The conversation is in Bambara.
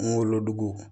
Kungolo dogo